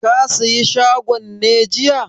Ka saye shagon ne jiya?